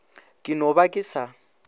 ke no ba ke sa